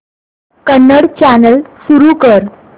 Kannada channel सुरू कर